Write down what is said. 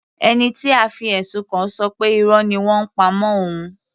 Ẹni tí a fi ẹ̀sùn kàn ṣọ pé Irọ́ ni wọ́n ń pa mọ́ òun.